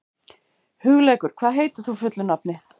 Hugleikur, hvað heitir þú fullu nafni?